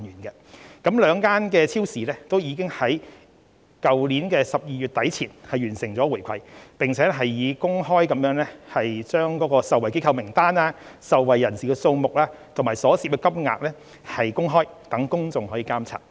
就此，兩間超市已經在去年12月底前完成回饋，並以公開受惠機構名單、受惠人士數目及所涉金額，讓公眾可以監察。